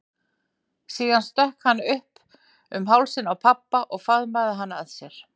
Síðan stökk hann upp um hálsinn á pabba og faðmaði hann að sér.